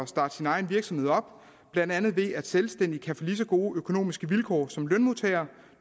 starte sin egen virksomhed op blandt andet ved at selvstændige kan få lige så gode økonomiske vilkår som lønmodtagere